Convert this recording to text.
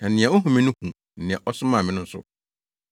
Na nea ohu me no hu nea ɔsomaa me no nso.